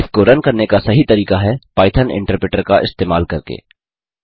इसको रन करने का सही तरीका है पाइथन इन्टरप्रेटर का इस्तेमाल करके